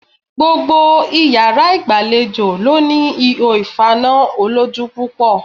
Gbogbo iyàrá ìgbàlejò ló ní ihò ìfaná olójú púpọ̀